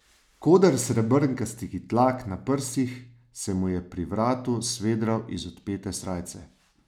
Koder srebrnkastih dlak na prsih se mu je pri vratu svedral iz odpete srajce.